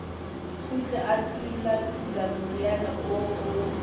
kgutle a tulatula moriana oo